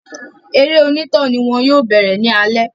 Eré onítàn ni wọ́n yóò bẹ̀rẹ̀ ní alẹ́